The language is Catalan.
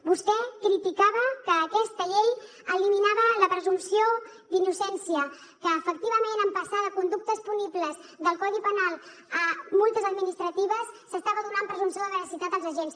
vostè criticava que aquesta llei eliminava la presumpció d’innocència que efectivament en passar de conductes punibles del codi penal a multes administratives s’estava donant presumpció de veracitat als agents